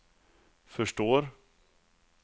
förstår